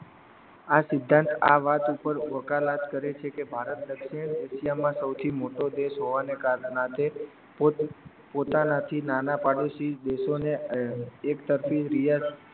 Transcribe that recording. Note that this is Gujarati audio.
આ સિદ્ધાંત આ વાત ઉપર વકાલત કરે છે કે ભારત દક્ષિણ એશિયામાં સૌથી મોટો દેશ હોવાના નાતે પોતાના થી નાના પડોસીદેશોને એકતરફી બિયારણ